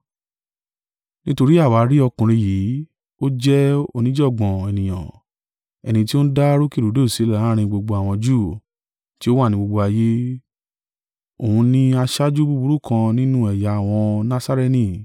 “Nítorí àwa rí ọkùnrin yìí, ó jẹ́ oníjàngbàn ènìyàn, ẹni tí ó ń dá rúkèrúdò sílẹ̀ láàrín gbogbo àwọn Júù tí ó wà ní gbogbo ayé. Òun ni aṣáájú búburú kan nínú ẹ̀yà àwọn Nasarene,